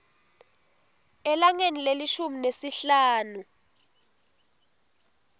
elangeni lelishumi nesihlanu